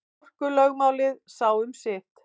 Orkulögmálið sá um sitt.